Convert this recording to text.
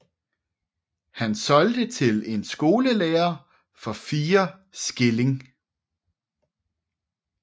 Han solgte det til en skolelærer for fire skilling